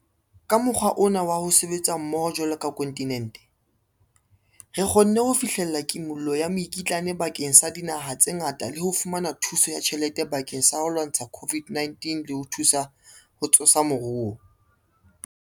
Ka mokgwa ona wa ho sebetsa mmoho jwalo ka kontinente, re kgonne ho fihlella kimollo ya mekitlane bakeng sa dinaha tse ngata le ho fumana thuso ya tjhelete bakeng sa ho lwantsha COVID-19 le ho thusa ho tsosa moruo.